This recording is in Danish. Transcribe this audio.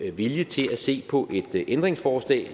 er vilje til at se på et ændringsforslag